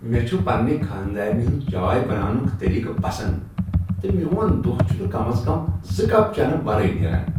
مےٚ چھ پننہ خانٛدارنہ ہنٛد چائے بناونُک طریقہٕ پسند تہٕ میون دۄہ چھ نہٕ کم از کم زٕ کپ چینہٕ ورٲے نٮ۪ران۔